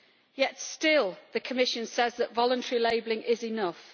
Yet still the Commission says that voluntary labelling is enough.